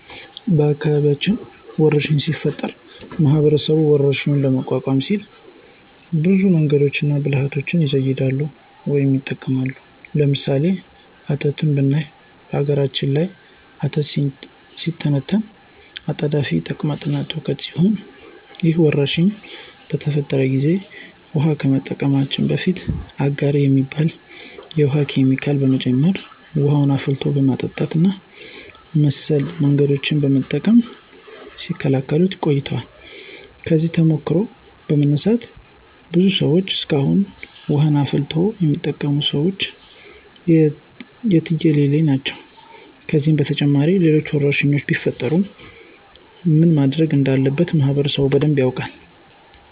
በአካባቢያችን ወረርሽኝ ሲፈጠር ማህበረሰቡ ወረርሽኙን ለመቋቋም ሲሉ ብዙ መንገዶችንና ብልሀቶችን ይዘይዳሉ ወይም ይጠቀማሉ። ለምሳሌ፦ አተት ብናይ በነገራችን ላይ አተት ሲተነተን አጣዳፊ ተቅማጥ ትውከት ሲሆን ይህ ወረርሽኝ በተፈጠረ ጊዜ ውሀን ከመጠቀማችን በፊት አጋር የሚባል የውሀ ኬሚካል መጨመር፣ ውሀን አፍልቶ በመጠጣት እና መሰል መንገዶችን በመጠቀም ሲከላከሉት ቆይተዋል። ከዚህ ተሞክሮ በመነሳት ብዙ ሰዎች እስካሁን ውሀን አፍልቶ የሚጠቀሙት ሰዎች የትየለሌ ናቸው። ከዚህም በተጨማሪ ሌሎች ወረርሽኞች ቢፈጠሩ ምን ማድረግ እንዳለበት ማህበረሰቡ በደንብ ያውቃል።